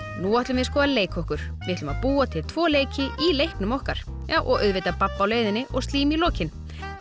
nú ætlum við sko að leika okkur við ætlum að búa til tvo leiki í leiknum okkar já og auðvitað babb á leiðinni og slím í lokin